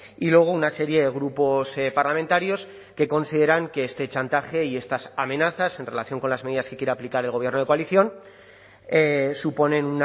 y luego una serie de grupos parlamentarios que consideran que este chantaje y estas amenazas en relación con las medidas que quiere aplicar el gobierno de coalición suponen